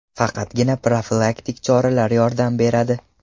Faqatgina profilaktik choralar yordam beradi.